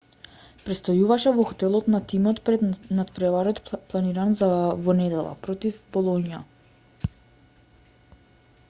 престојуваше во хотелот на тимот пред натпреварот планиран за во недела против болоња